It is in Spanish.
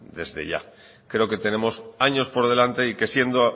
desde ya creo que tenemos años por delante y que siendo